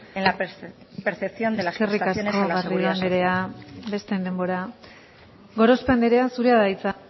en la percepción de las prestaciones a la seguridad social eskerrik asko garrido anderea besteen denbora gorospe anderea zurea da hitza